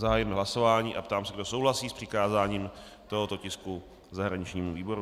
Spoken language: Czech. Zahájím hlasování a ptám se, kdo souhlasí s přikázáním tohoto tisku zahraničnímu výboru.